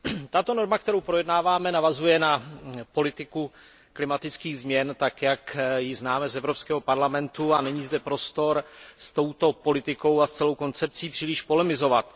Tato norma, kterou projednáváme, navazuje na politiku klimatických změn, tak jak ji známe z Evropského parlamentu, a není zde prostor s touto politikou a s celou koncepcí příliš polemizovat.